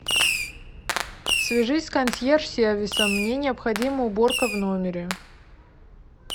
свяжись с консьерж сервисом мне необходима уборка в номере